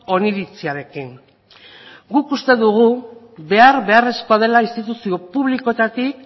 oniritziarekin guk uste dugu behar beharrezkoa dela instituzio publikoetatik